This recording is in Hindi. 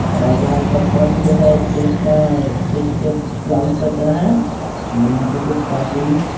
और यहाँ का फर्श जो है चेस का चेस के ग्राउंड के तरह है और यहाँ पे कुछ कार्टून्स --